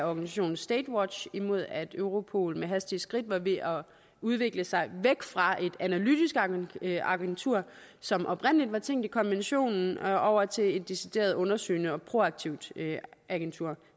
organisationen statewatch imod at europol med hastige skridt var ved at udvikle sig væk fra et analytisk agentur som det oprindelig var tænkt som i konventionen over til et decideret undersøgende og proaktivt agentur